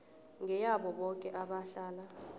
ngeyabo boke abahlala